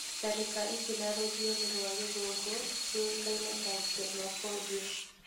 Tharĩka ici na rũthiomi rwa gĩthũngũ ciũĩkaine ta xenophobia.